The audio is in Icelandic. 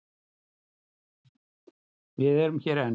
Við erum hér enn.